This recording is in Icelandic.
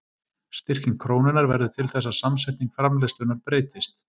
Styrking krónunnar verður til þess að samsetning framleiðslunnar breytist.